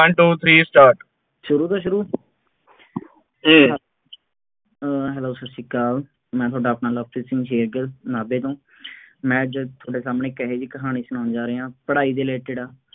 One two three start ਕਰੀਏ ਫੇਰ ਸ਼ੁਰੂ ਜੀ, ਅਹ hello ਸਤਿ ਸ਼੍ਰੀ ਅਕਾਲ, ਮੈਂ ਤੁਹਾਡਾ ਆਪਣਾ ਲਵਪ੍ਰੀਤ ਸਿੰਘ ਸ਼ੇਰਗਿੱਲ ਨਾਭੇ ਤੋਂ, ਮੈਂ ਜਦ ਤੁਹਾਡੇ ਸਾਹਮਣੇ ਇੱਕ ਇਹੋ ਜਿਹੀ ਕਹਾਣੀ ਸੁਨਾਉਣ ਜਾ ਰਿਹਾ, ਪੜ੍ਹਾਈ related